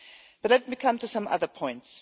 But let me come to some other points.